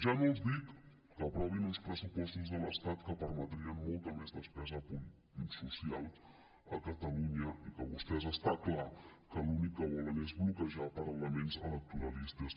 ja no els dic que aprovin uns pressupostos de l’estat que permetrien molta més despesa social a catalunya i que vostès està clar que l’únic que volen és bloquejar per elements electoralistes